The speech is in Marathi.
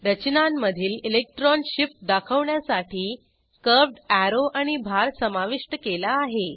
रचनांमधील इलेक्ट्रॉन शिफ्ट दाखवण्यासाठी कर्व्हड अॅरो आणि भार समाविष्ट केला आहे